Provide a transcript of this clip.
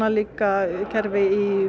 kerfi